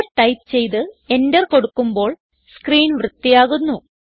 clear type ചെയ്ത് enter കൊടുക്കുമ്പോൾ screen വൃത്തിയാകുന്നു